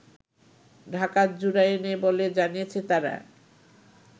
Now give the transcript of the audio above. ঢাকার জুরাইনে বলে জানিয়েছে তারা